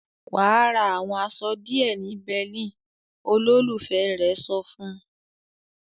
"Wà á ra àwọn aṣọ díẹ̀ ní Berlin!" Olólùfẹ́ rẹ̀ sọ fún un.